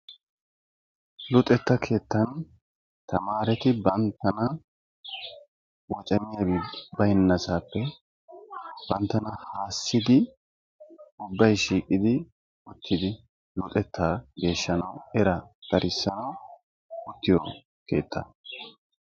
Luxetta keettan tamareti banttana woccamiyaaba baynnasappe banttana haasidi ubbay shiiqqidi uttidi luxetta geeshshanaw era darissanaw oottiyo keettaa.